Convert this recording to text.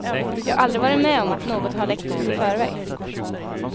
Jag har aldrig varit med om att något har läckt ut i förväg.